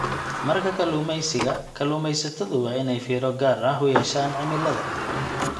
Marka kalluumeysiga, kalluumeysatadu waa inay fiiro gaar ah u yeeshaan cimilada.